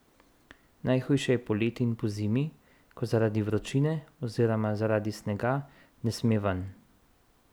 Najhujše je poleti in pozimi, ko zaradi vročine oziroma zaradi snega ne sme ven.